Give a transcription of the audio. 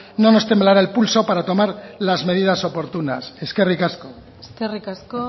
no nos temblara el pulso para tomar las medidas oportunas eskerrik asko eskerrik asko